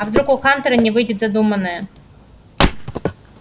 а вдруг у хантера не выйдет задуманное